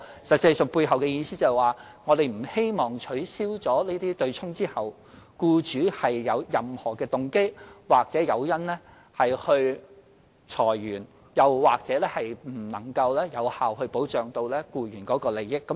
實際上，背後意思就是說，我們不希望在取消"對沖"安排後，僱主有任何動機或誘因裁員，又或令僱員的利益得不到有效保障。